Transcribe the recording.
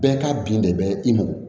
Bɛɛ ka bin de bɛ i mɔ